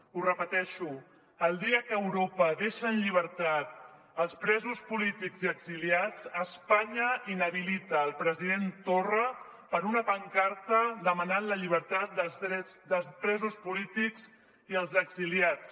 ho repeteixo el dia que europa deixa en llibertat els presos polítics i exiliats espanya inhabilita el president torra per una pancarta demanant la llibertat dels presos polítics i els exiliats